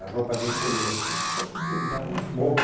A roupa dele molhou, então ele só podia usar o smoking.